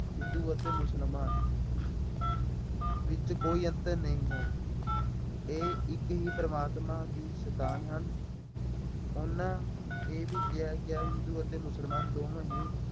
ਹਿੰਦੂ ਅਤੇ ਮੁਸਲਮਾਨ ਵਿੱਚ ਕੋਈ ਅੰਤਰ ਨਹੀਂ ਹੈ। ਇਹ ਇੱਕ ਹੀ ਪ੍ਰਮਾਤਮਾ ਦੀ ਸੰਤਾਨ ਹਨ। ਉਹਨਾ ਇਹ ਵੀ ਕਿਹਾ ਗਿਆ, ਹਿੰਦੂ ਅਤੇ ਮੁਸਲਮਾਨ ਦੋਵੇਂ ਹੀ